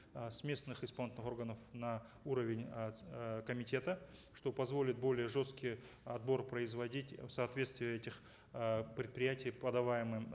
э с местных исполнительных органов на уровень комитета что позволит более жесткий отбор производить в соответствии этих э предприятий подаваемым